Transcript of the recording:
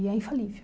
E é infalível.